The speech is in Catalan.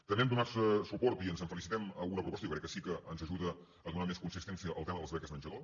també hem donat suport i ens en felicitem a alguna proposta que jo crec que sí que ens ajuda a donar més consistència al tema de les beques menjador